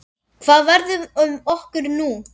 Hvað verður um okkur nú?